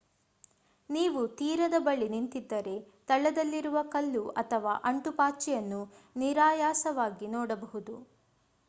ನೀವು ತೀರದ ಬಳಿ ನಿಂತಿದ್ದರೆ ತಳದಲ್ಲಿರುವ ಕಲ್ಲು ಅಥವಾ ಅಂಟುಪಾಚಿಯನ್ನು ನಿರಾಯಾಸವಾಗಿ ನೋಡಬಹುದು